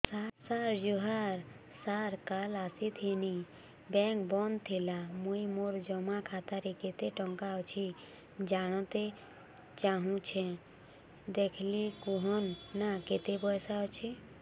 ସାର ଜୁହାର ସାର କାଲ ଆସିଥିନି ବେଙ୍କ ବନ୍ଦ ଥିଲା ମୁଇଁ ମୋର ଜମା ଖାତାରେ କେତେ ଟଙ୍କା ଅଛି ଜାଣତେ ଚାହୁଁଛେ ଦେଖିକି କହୁନ ନା କେତ ପଇସା ଅଛି